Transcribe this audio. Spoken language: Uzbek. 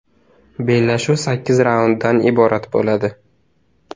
Bellashuv sakkiz raunddan iborat bo‘ladi.